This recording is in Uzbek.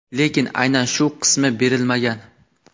lekin aynan shu qismi berilmagan.